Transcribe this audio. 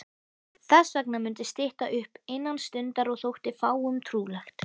Þessvegna mundi stytta upp innan stundar- og þótti fáum trúlegt.